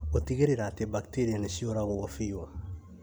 gũtigĩrĩra atĩ bacteria nĩ ciũragwo biũ